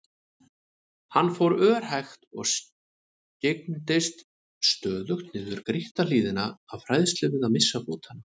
Hann fór örhægt og skyggndist stöðugt niður grýtta hlíðina af hræðslu við að missa fótanna.